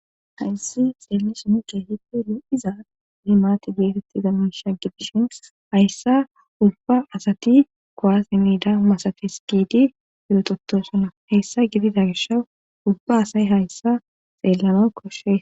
hayssi xeellin keehippe lo'iza himaati geetettiza miisha gidishin hayssa ubba asati koasi miida masati skidi urototosuna heyssa gidida gisha ubba asay hayssa xeellano koshe